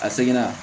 A seginna